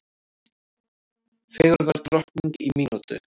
Fegurðardrottning í mínútu